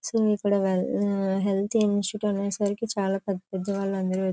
so ఇక్కడ health insurance అనేసరికి చాలా పెద్ద పెద్ద వాళ్ళందరూ --